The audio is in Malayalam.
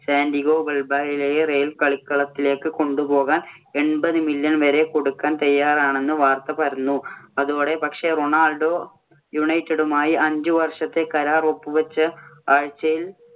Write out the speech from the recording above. സാന്‍റിയാഗോ ബെർണബാവോയിലേക്ക് കളിക്കളത്തിലേക്ക് കൊണ്ടുപോകാൻ എണ്‍പത് million വരെ കൊടുക്കാൻ തയ്യാറാണെന്ന വാർത്ത പരന്നു. അതോടെ പക്ഷേ, റൊണാൾഡോ യുണൈറ്റഡുമായി അഞ്ച് വർഷത്തെ കരാർ ഒപ്പു വെച്ചു - ആഴ്ച്ചയിൽ